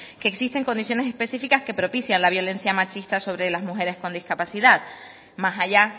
que existen condiciones específicas que propician la violencia machista sobre las mujeres con discapacidad más allá